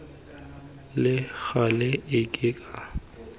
le gale e e ka